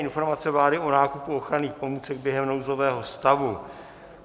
Informace vlády o nákupu ochranných pomůcek během nouzového stavu